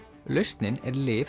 lausnin er lyf